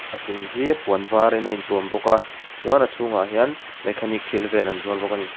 a chung hi puan var in a in tuam bawk a chuan a chhungah hian mechanic thil vel an zuar bawk a ni.